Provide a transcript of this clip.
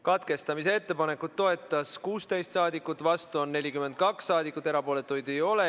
Katkestamise ettepanekut toetas 16 rahvasaadikut, vastuolijaid oli 42 ja erapooletuid ei olnud.